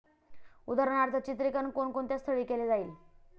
उदाहरणार्थ, चित्रीकरण कोणकोणत्या स्थळी केले जाईल?